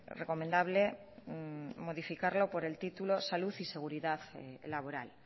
recomendable modificarlo por el título salud y seguridad laboral